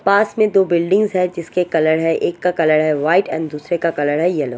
पास में दो बिल्डिंग है जिसके कलर है एक का कलर है वाइट एंड दुसरे का कलर है येलो --